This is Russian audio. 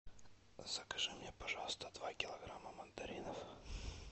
закажи мне пожалуйста два килограмма мандаринов